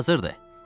Hazırdır.